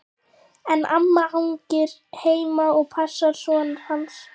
En amma hangir heima og passar son hans.